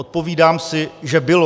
Odpovídám si, že bylo.